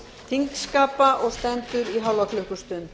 þingskapa og stendur í hálfa klukkustund